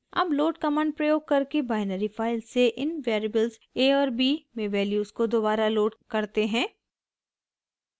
अब load command प्रयोग करके बाइनरी फाइल्स से इन वेरिएबल्स a और b में वैल्यूज़ को दोबारा लोड करते हैं